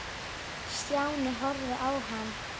Stjáni horfði á hann.